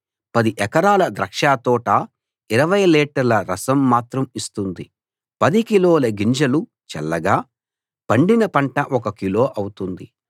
పది ఎకరాల ద్రాక్షతోట ఇరవై లీటర్ల రసం మాత్రం ఇస్తుంది పది కిలోల గింజలు చల్లగా పండిన పంట ఒక కిలో అవుతుంది